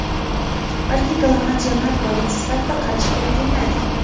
balki global jamoat boyligi sifatida qarash kerakligini aytgan..